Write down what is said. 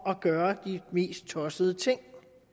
at gøre de mest tossede ting